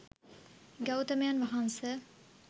ගෞතමයන් වහන්ස,